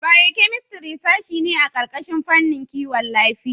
Biokemistri sashe ce a ƙarƙashin fannin Kiwon Lafiya.